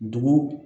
Dugu